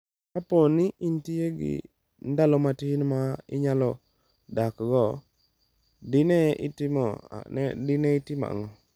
Kapo ni de intie gi ndalo matin ma inyalo dakgo, dine itimo ang’o?